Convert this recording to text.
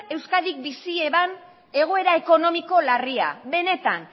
euskadik bizi zuen egoera ekonomiko larria benetan